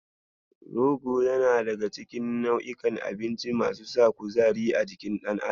Rogo yana daga cikin nau'inkan abinci masu sa kuzari a jikin dan adam.